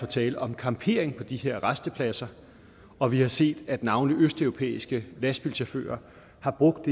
tale om campering på de her rastepladser og vi har set at navnlig østeuropæiske lastbilchauffører har brugt